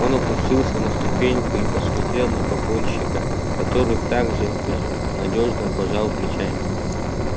он опустился на ступеньку и посмотрел на погонщика который так же безнадёжно пожал плечами